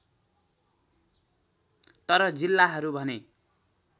तर जिल्लाहरू भने